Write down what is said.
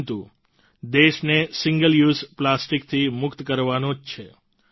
આપણે દેશને single use પ્લાસ્ટિકથી મુક્ત કરવાનો જ છે